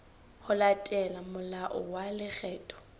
ho latela molao wa lekgetho